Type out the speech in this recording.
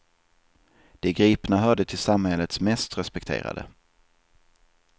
De gripna hörde till samhällets mest respekterade.